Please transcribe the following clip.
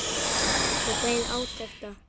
Og beið átekta.